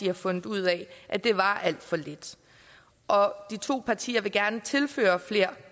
har fundet ud af at det var alt for lidt de to partier vil gerne tilføre flere